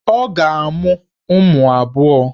Ọ ga-amụ ụmụ abụọ.